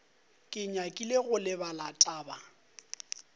ke nyakile go lebala taba